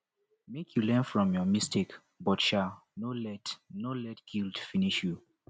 make you learn from your mistake but um no let no let guilt finish you